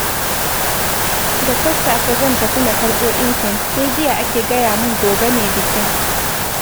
Da sassafe zan tafi na karɓo ɗinkin. Sai jiya ake gaya min gobe ne bikin